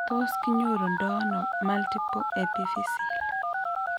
Tos kinyoru ndo ano multiple epiphyseal ?